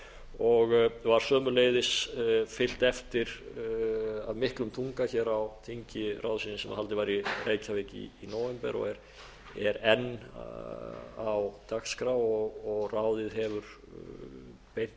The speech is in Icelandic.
og var sömuleiðis fylgt eftir af miklum þunga hér á þingi ráðsins sem haldið var í reykjavík í nóvember og er enn á dagskrá og ráðið hefur beint